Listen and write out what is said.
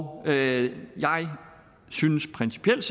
og jeg synes principielt